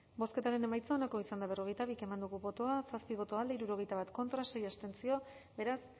bozketaren emaitza onako izan da hirurogeita hamalau eman dugu bozka zazpi boto alde hirurogeita bat contra sei abstentzio beraz